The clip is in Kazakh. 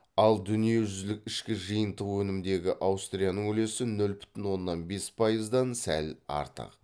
ал дүниежүзілік ішкі жиынтық өнімдегі аустрияның үлесі нөл бүтін оннан бес пайыздан сәл артық